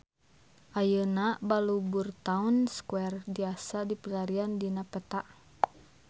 Ayeuna Balubur Town Square tiasa dipilarian dina peta